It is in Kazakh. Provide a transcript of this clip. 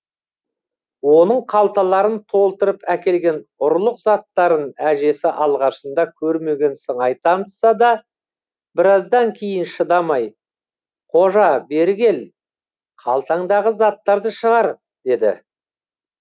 оның қалталарын толтырып әкелген ұрлық заттарын әжесі алғашында көрмеген сыңай танытса да біраздан кейін шыдамай қожа бері кел қалтаңдағы заттарды шығар деді